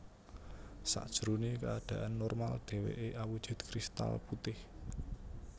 Sajrone keadaan normal deweke awujud kristal putih